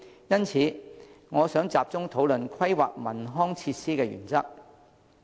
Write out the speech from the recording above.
因此，我想集中討論規劃文康設施的原則。